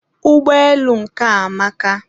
ụgbọelu nke a amaka